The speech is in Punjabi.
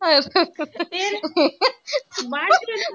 ਫਿਰ ਬਾਚ ਕਿਉਂ ਨੀ।